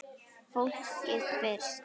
Fólkið fyrst!